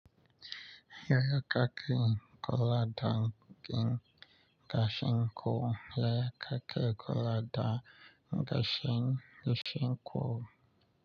Yaya kaki in kulaɗan kin ka shin ko le kakel kulaɗan ka shin in shin ko.